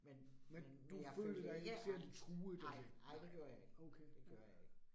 Men, men, men jeg følte ikke angst, nej, nej det gjorde jeg ikke, det gjorde jeg ikke